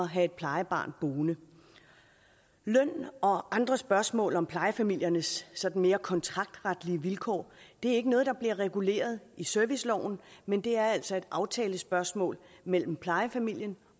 have et plejebarn boende løn og andre spørgsmål om plejefamiliernes sådan mere kontraktretlige vilkår er ikke noget der bliver reguleret i serviceloven men det er altså et aftalespørgsmål mellem plejefamilien